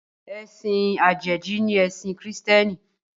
Ẹ̀sìn Àjèjì ni ẹ̀sìn kìrììtẹ́nì